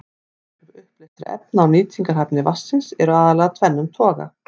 Áhrif uppleystra efna á nýtingarhæfni vatnsins eru aðallega af tvennum toga.